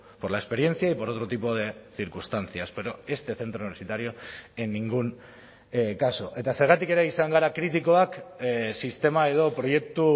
por la experiencia y por otro tipo de circunstancias pero este centro universitario en ningún caso eta zergatik ere izan gara kritikoak sistema edo proiektu